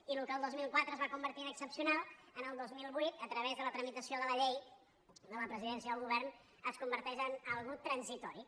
i el que el dos mil quatre es va convertir en excepcional el dos mil vuit a través de la tramitació de la llei de la presidència i del govern es converteix en una cosa transitòria